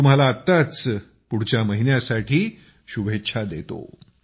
मी तुम्हाला आत्ताच पुढच्या महिन्यासाठी शुभेच्छा देतो